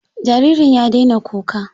Jaririn ya daina kuka?